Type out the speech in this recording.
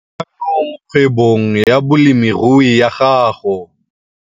Boikanyo mo kgwebong ya bolemirui ya gago